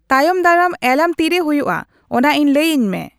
ᱛᱟᱭᱚᱢ ᱫᱟᱨᱟᱢ ᱮᱞᱟᱨᱟᱢ ᱛᱤᱨᱮ ᱦᱳᱭᱳᱜᱼᱟ ᱚᱱᱟ ᱤᱧ ᱞᱟᱹᱭ ᱟᱹᱧ ᱢᱮ